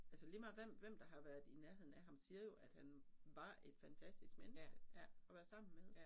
Altså lige meget hvem hvem der har været i nærheden af ham siger jo at han var et fantastisk menneske at være sammen med